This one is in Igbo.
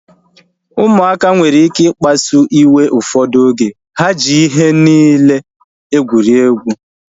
Ụmụaka nwere ike ikpasu iwe ụfọdụ oge. Ha ji ihe niile egwuregwu